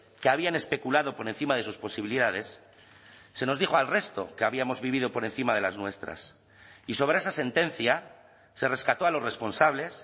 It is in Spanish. que habían especulado por encima de sus posibilidades se nos dijo al resto que habíamos vivido por encima de las nuestras y sobre esa sentencia se rescató a los responsables